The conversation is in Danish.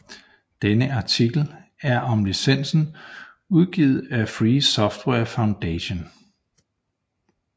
Denne artikel er om licensen udgivet af Free Software Foundation